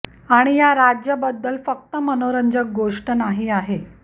आणि या राज्य बद्दल फक्त मनोरंजक गोष्ट नाही आहे